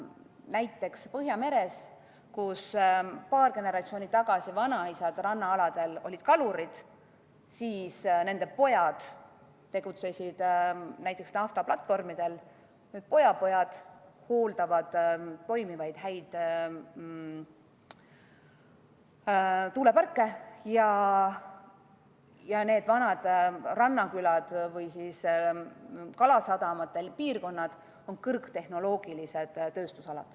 Näiteks Põhjamere ääres olid paar generatsiooni tagasi vanaisad rannaaladel kalurid, seejärel nende pojad tegutsesid naftaplatvormidel ja nüüd pojapojad hooldavad häid toimivaid tuuleparke ning need vanad rannakülad või kalasadamate piirkonnad on kõrgtehnoloogilised tööstusalad.